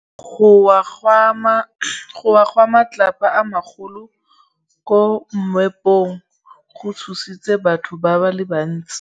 Go wa ga matlapa a magolo ko moepong go tshositse batho ba le bantsi.